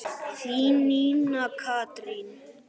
Þín, Nína Katrín.